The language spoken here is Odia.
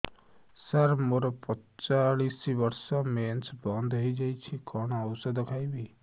ସାର ମୋର ପଞ୍ଚଚାଳିଶି ବର୍ଷ ମେନ୍ସେସ ବନ୍ଦ ହେଇଯାଇଛି କଣ ଓଷଦ ଖାଇବି